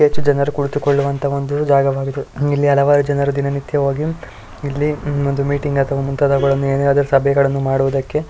ಯಾರು ಕುಳಿತುಕೊಳ್ಳುವಂತಹ ಒಂದು ಜಾಗವಾಗಿದೆ ಇಲ್ಲಿ ಹಲವಾರು ಜನರು ದಿನನಿತ್ಯವಾಗಿ ಇಲ್ಲಿ ಒಂದು ಮೀಟಿಂಗ್ ಅಥವಾ ಮುಂತಾದವುಗಳನ್ನು ಏನಾದ್ರು ಸಭೆಗಳನ್ನು ಮಾಡುವುದಕ್ಕೆ--